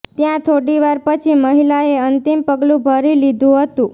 ત્યાં થોડીવાર પછી જ મહિલાએ અંતિમ પગલું ભરી લીધું હતું